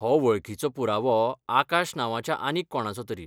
हो वळखीचो पुरावो आकाश नांवाच्या आनीक कोणाचोतरी.